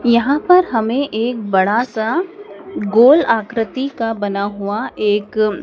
यहां पर हमें एक बड़ा सा गोल आकृति का बना हुआ एक--